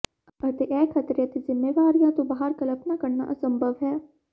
ਅਤੇ ਇਹ ਖ਼ਤਰੇ ਅਤੇ ਜ਼ਿੰਮੇਵਾਰੀਆਂ ਤੋਂ ਬਾਹਰ ਕਲਪਨਾ ਕਰਨਾ ਅਸੰਭਵ ਹੈ